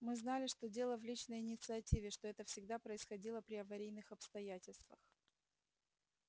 мы знали что дело в личной инициативе что это всегда происходило при аварийных обстоятельствах